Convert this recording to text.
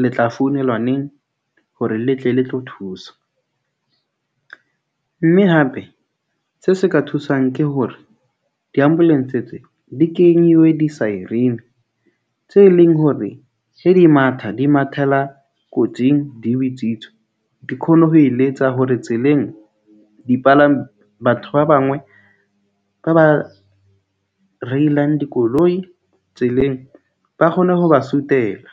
le tla founelwa neng hore le tle le tlo thusa. Mme hape se se ka thusang ke hore di-ambulance tse di kenyuwe di-siren tse leng hore he di matha, di mathela kotsing, di bitswitse. Di khone ho e letsa hore tseleng di palama. Batho ba bangwe ba ba reilang dikoloi tseleng, ba kgone ho ba suthela.